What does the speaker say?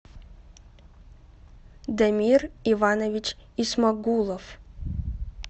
дамир иванович исмагулов